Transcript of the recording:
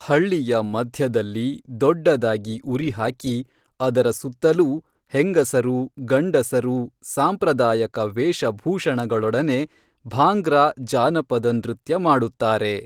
ಹಳ್ಳಿಯ ಮಧ್ಯದಲ್ಲಿ ದೊಡ್ಡದಾಗಿ ಉರಿಹಾಕಿ ಅದರ ಸುತ್ತಲೂ ಹೆಂಗಸರೂ ಗಂಡಸರೂ ಸಾಂಪ್ರದಾಯಕ ವೇಷ ಭೂಷಣಗಳೊಡನೆ ಭಾಂಗ್ರಾ ಜಾನಪದ ನೃತ್ಯ ಮಾಡುತ್ತಾರೆ